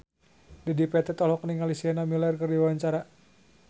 Dedi Petet olohok ningali Sienna Miller keur diwawancara